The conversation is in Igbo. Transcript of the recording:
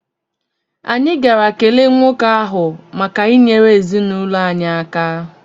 Anyị gara kelee nwoke ahụ maka inyere ezinụlọ anyị aka.